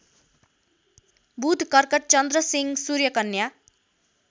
बुधकर्कट चन्द्रसिंह सूर्यकन्या